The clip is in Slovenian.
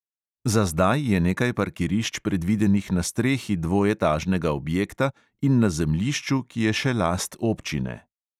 Za zdaj je nekaj parkirišč predvidenih na strehi dvoetažnega objekta in na zemljišču, ki je še last občine.